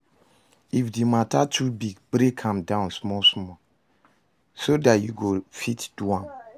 If di mata too big, break am down small small so dat yu go fit do am